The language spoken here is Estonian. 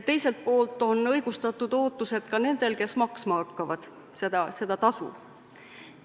Teiselt poolt on õigustatud ootused ka nendel, kes seda tasu maksma hakkavad.